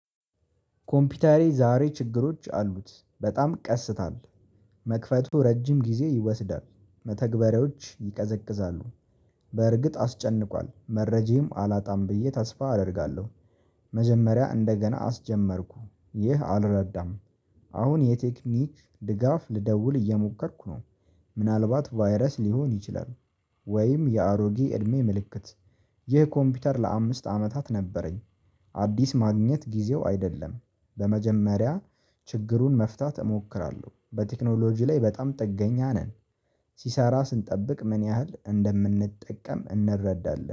ኮምፒውተሬ ዛሬ ችግሮች አሉት በጣም ቀስታል መክፈቱ ረጅም ጊዜ ይወስዳል መተግበሪያዎች ይቀዘቅዛሉ። በእርግጥ አስጨንቋል መረጃም አላጣም ብዬ ተስፋ አደርጋለሁ። መጀመሪያ እንደገና አስጀመርኩ ይህ አልረዳም። አሁን የቴክኒክ ድጋፍ ልደውል እየሞከርኩ ነው። ምናልባት ቫይረስ ሊሆን ይችላል። ወይም የአሮጌ እድሜ ምልክት። ይህ ኮምፒውተር ለአምስት አመታት ነበረኝ። አዲስ ማግኘት ጊዜው አይደለም። በመጀመሪያ ችግሩን መፍታት እሞክራለሁ። በቴክኖሎጂ ላይ በጣም ጥገኛ ነን። ሲሰራ ስንጠብቅ ምን ያህል እንደምንጠቀም እንረዳለን